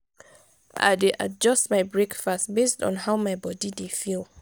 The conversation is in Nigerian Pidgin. i dey adjust my breakfast based on how my body dey feel.